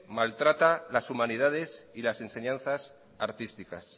maltrata las humanidades y las enseñanzas artísticas